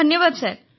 ଧନ୍ୟବାଦ ସାର୍